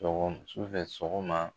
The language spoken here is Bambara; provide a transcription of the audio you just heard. Su fɛ, sɔgɔma